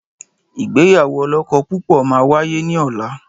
Ìgbéyàwó ọlọ́kọ púpọ̀ máa wáyé ní ọ̀la.